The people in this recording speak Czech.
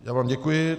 Já vám děkuji.